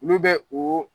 Olu bɛ o